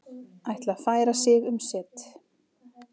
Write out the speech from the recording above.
Ætla að færa sig um set